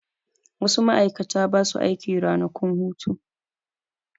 Wasu ma'aikata ba su aiki ranakun hutu.